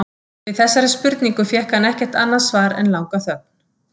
Við þessari spurningu fékk hann ekkert annað svar en langa þögn.